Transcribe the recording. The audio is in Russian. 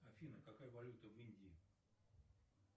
афина какая валюта в индии